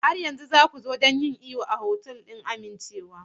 Har yanzu za ku zo don yin iyo a otal ɗin amincewa?